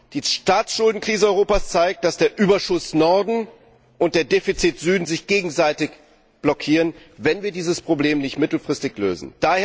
Die Staatsschuldenkrise Europas zeigt, dass der Überschuss Norden und der Defizit Süden sich gegenseitig blockieren, wenn wir dieses Problem nicht mittelfristig lösen.